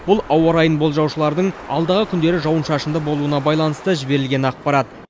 бұл ауа райын болжаушылардың алдағы күндері жауын шашынды болуына байланысты жіберілген ақпарат